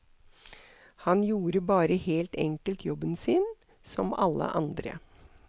Han gjorde bare helt enkelt jobben sin, som alle andre.